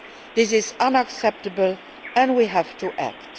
This is unacceptable, and we have to act.